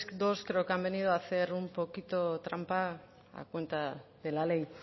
dos creo que han venido a hacer un poquito trampa a cuenta de la ley